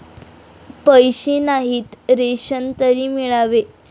पैसे नाहीत, रेशन तरी मिळावे